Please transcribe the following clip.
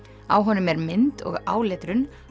á honum er mynd og áletrun